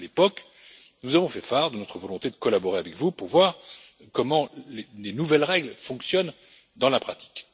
À l'époque, nous avons fait part de notre volonté de collaborer avec vous pour voir comment les nouvelles règles fonctionnaient dans la pratique.